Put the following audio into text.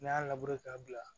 N'a y'a labure k'a bila